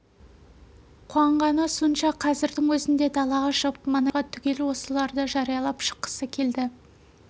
қуанғаны сонша қазірдің өзінде далаға шығып маңайдағы балаларға түгел осыларды жариялап шыққысы келді